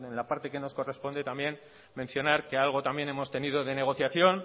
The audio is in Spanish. la parte que nos corresponde también mencionar que algo también hemos tenido de negociación